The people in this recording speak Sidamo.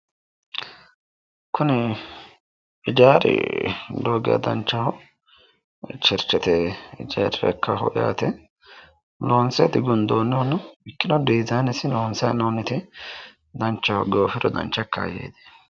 Kuni ijaari lowo geeshsha danchaho cherchete ikkaho yaate loonse digundoonnihona ikkirono dizaanesi danchaho goofiro dancha ikka yeemmo.